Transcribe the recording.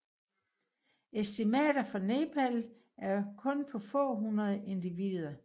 Estimater for Nepal er kun på få hundrede individer